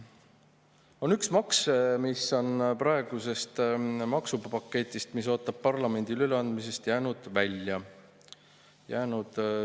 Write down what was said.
On üks maks, mis on praegusest maksupaketist, mis ootab parlamendile üleandmist, välja jäänud.